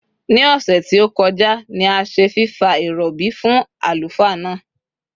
Ní òsè tí ó kojá ni a se fìfa ìròbì fún àlùfáà náà